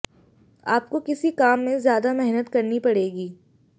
आपको किसी काम में ज्यादा मेहनत करनी पड़ेगी